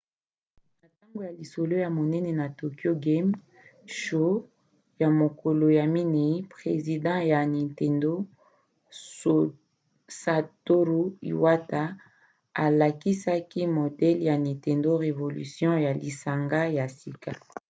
na ntango ya lisolo ya monene na tokyo game show ya mokolo ya minei president ya nintendo satoru iwata alakisaki modele ya nintendo revolution ya lisanga ya sika